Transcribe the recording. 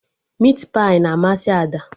Mit pai na amasị Ada